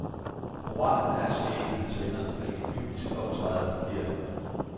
Moralen er, siger en af han venner, at de kyniske optræder forkert.